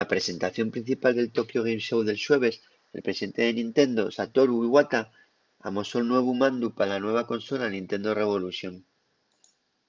na presentación principal del tokyo game show del xueves el presidente de nintendo satoru iwata amosó'l nuevu mandu pa la nueva consola nintendo revolution